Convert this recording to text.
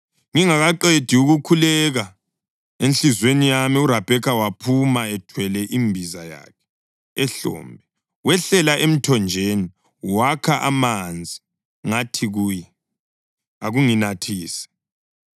Ngingakaqedi ukukhuleka enhliziyweni yami, uRabheka waphuma, ethwele imbiza yakhe ehlombe. Wehlela emthonjeni wakha amanzi, ngathi kuye, ‘Akunginathise.’